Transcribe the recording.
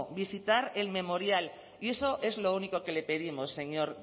visitar el memorial y eso es lo único que le pedimos señor